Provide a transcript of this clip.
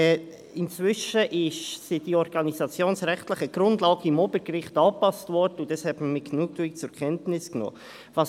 Inzwischen wurden die organisationsrechtlichen Grundlagen im Obergericht angepasst, was man mit Genugtuung zur Kenntnis genommen hat.